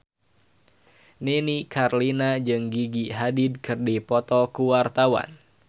Nini Carlina jeung Gigi Hadid keur dipoto ku wartawan